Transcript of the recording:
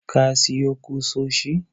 ka siyo kusoshi?